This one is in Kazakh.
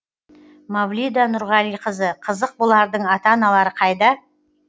мавлида нұрғалиқызы қызық бұлардың ата аналары қайда